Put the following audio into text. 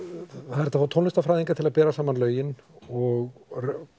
það er hægt að fá tónlistarfræðinga til að bera saman lögin og